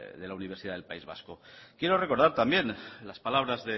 de la universidad del país vasco quiero recordar también las palabras